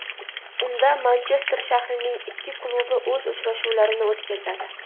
Unda Manchester shahrining ikki klubi o‘z uchrashuvlarini o‘tkazadi.